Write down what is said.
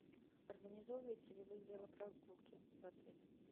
организовываете ли вы велопрогулки в отеле